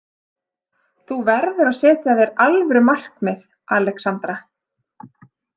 Þú verður að setja þér alvöru markmið, Alexandra.